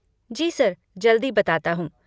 जी sir, जल्दी बताता हूँ।